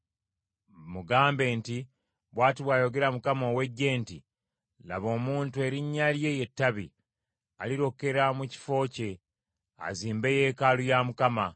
Mugambe nti, bw’ati bw’ayogera Mukama ow’Eggye nti, ‘Laba omuntu erinnya lye ye Ttabi; alirokera mu kifo kye, azimbe yeekaalu ya Mukama .